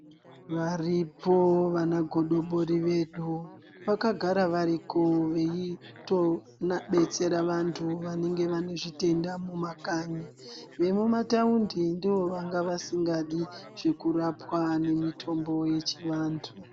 Varipo vanagodobori vedu vakagara variko veitobetsera vantu vanenge vane zvitenda mumakanyi, vemumataundi ndivo vanga vasingadi zvekurapwa nemitombo yechivantu.